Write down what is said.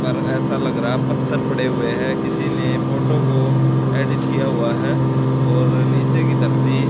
पर ऐसा लग रहा पत्थर पड़े हुए है किसी ने फोटो को एडिट किया हुआ है और नीचे की धरती--